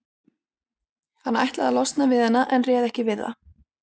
Hann ætlaði að losna við hana en réð ekki við það.